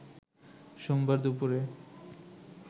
সোমবার দুপুরে